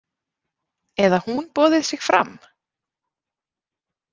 Eða hún boðið sig fram?